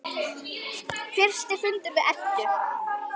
Fyrsti fundur við Eddu.